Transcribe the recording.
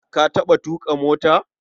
Ka taɓa tuƙa mota?